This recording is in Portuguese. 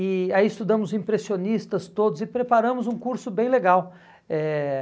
E aí estudamos impressionistas todos e preparamos um curso bem legal. Eh